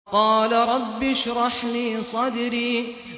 قَالَ رَبِّ اشْرَحْ لِي صَدْرِي